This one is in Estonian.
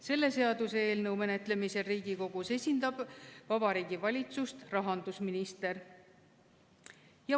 Selle seaduseelnõu menetlemisel Riigikogus esindab Vabariigi Valitsust rahandusminister.